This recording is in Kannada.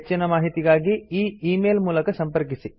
ಹೆಚ್ಚಿನ ಮಾಹಿತಿಗಾಗಿ ಈ ಈ ಮೇಲ್ ಮೂಲಕ ಸಂಪರ್ಕಿಸಿ